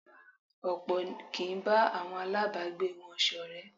Ọ̀pọ̀ kì í bá àwọn aláàbágbé wọn ṣọ̀rẹ́.